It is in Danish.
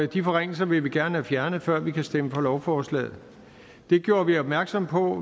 de forringelser vil vi gerne have fjernet før vi kan stemme for lovforslagene det gjorde vi opmærksom på